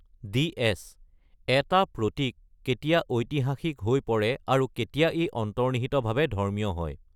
DS.: এটা প্ৰতীক কেতিয়া ঐতিহাসিক হৈ পৰে আৰু কেতিয়া ই অন্তৰ্নিহিতভাৱে ধৰ্মীয় হয়?